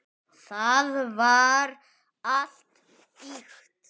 Það var allt ýkt.